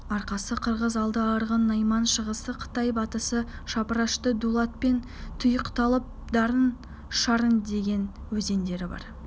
арқасы қырғыз алды арғын найман шығысы қытай батысы шапырашты дулатпен тұйықталып нарын шарын деген өзендері бар